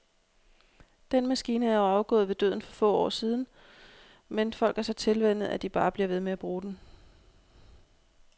Den maskine er jo afgået ved døden for år siden, men folk er så tilvænnet, at de bare bliver ved med at bruge den.